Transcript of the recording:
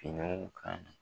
Finiw kan.